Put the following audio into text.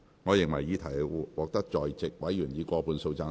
我認為議題獲得在席委員以過半數贊成。